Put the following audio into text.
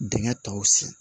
Dingɛ tɔw sen